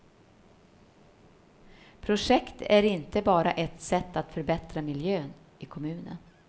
Projektet är inte bara ett sätt att förbättra miljön i kommunen.